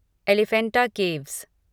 Elephanta caves